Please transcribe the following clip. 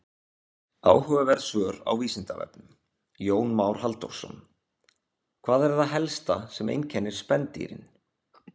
Áhugaverð svör á Vísindavefnum: Jón Már Halldórsson: Hvað er það helsta sem einkennir spendýrin?